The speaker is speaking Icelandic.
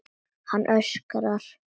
Hann öskrar.